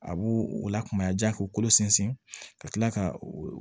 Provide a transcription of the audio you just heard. A b'o o lakumaya ja k'u kolo sinsin ka tila ka o